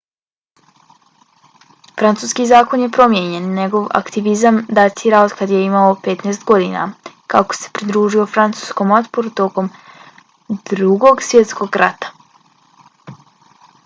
francuski zakon je promijenjen. njegov aktivizam datira otkad je imao 15. godina kada se pridružio francuskom otporu tokom drugog svjetskog rata